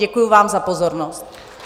Děkuji vám za pozornost.